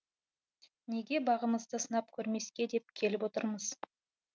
неге бағымызды сынап көрмеске деп келіп отырмыз